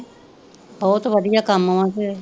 ਬਹੁਤ ਵਧੀਆ ਕੰਮ ਵਾ ਤੇ।